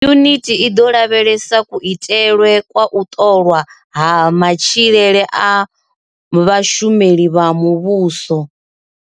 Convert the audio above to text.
Yunithi i ḓo lavhelesa kuitelwe kwa u ṱolwa ha matshilele a vhashumeli vha muvhuso.